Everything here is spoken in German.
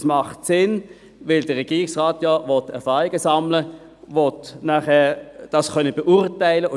Das macht Sinn, denn der Regierungsrat will denn auch Erfahrungen sammeln können, will das nachher beurteilen können.